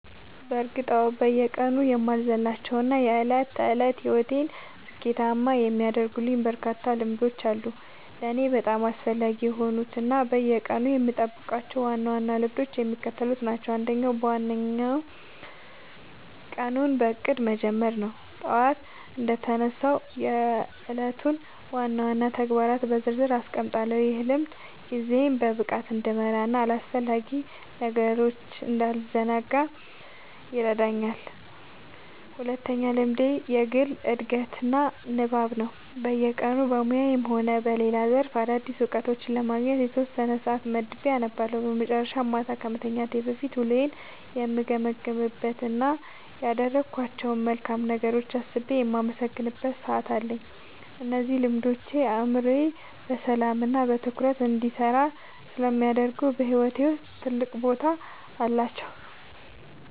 በእርግጥ አዎ፤ በየቀኑ የማልዘልላቸው እና የዕለት ተዕለት ሕይወቴን ስኬታማ የሚያደርጉልኝ በርካታ ልምዶች አሉ። ለእኔ በጣም አስፈላጊ የሆኑት እና በየቀኑ የምጠብቃቸው ዋና ዋና ልምዶች የሚከተሉት ናቸው፦ አንደኛው እና ዋነኛው ቀኑን በእቅድ መጀመር ነው። ጠዋት እንደተነሳሁ የዕለቱን ዋና ዋና ተግባራት በዝርዝር አስቀምጣለሁ፤ ይህ ልምድ ጊዜዬን በብቃት እንድመራና በአላስፈላጊ ነገሮች እንዳልዘናጋ ይረዳኛል። ሁለተኛው ልምዴ የግል ዕድገትና ንባብ ነው፤ በየቀኑ በሙያዬም ሆነ በሌላ ዘርፍ አዳዲስ እውቀቶችን ለማግኘት የተወሰነ ሰዓት መድቤ አነባለሁ። በመጨረሻም፣ ማታ ከመተኛቴ በፊት ውሎዬን የምገመግምበት እና ያደረግኳቸውን መልካም ነገሮች አስቤ የማመሰግንበት ሰዓት አለኝ። እነዚህ ልምዶች አእምሮዬ በሰላምና በትኩረት እንዲሰራ ስለሚያደርጉ በሕይወቴ ውስጥ ትልቅ ቦታ አላቸው።"